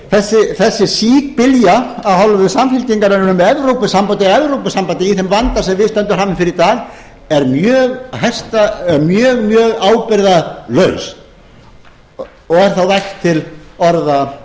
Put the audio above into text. þessi síbylja af hálfu samfylkingarinnar um evrópusambandið í þeim vanda sem við stöndum frammi fyrir í dag er mjög mjög ábyrgðarlaus og er þá vægt